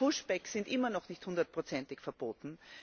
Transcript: Pushbacks sind immer noch nicht hundertprozentig verboten.